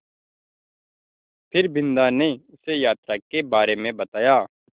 फिर बिन्दा ने उसे यात्रा के बारे में बताया